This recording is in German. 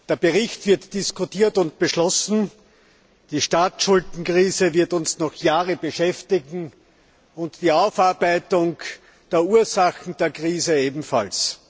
Der Bericht wird diskutiert und beschlossen, die Staatsschuldenkrise wird uns noch Jahre beschäftigen und die Aufarbeitung der Ursachen der Krise ebenfalls.